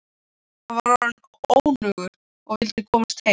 Hann var orðinn önugur og vildi komast heim.